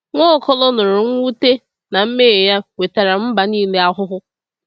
Nwaokolo nụrụ mwute na mmehie ya wetara mba niile ahụhụ.